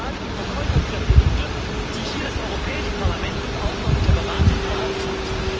Das sind doch gerade die Verkäufer dieser Produkte, die hier das Europäische Parlament nun auch noch mit der Beratung beauftragt.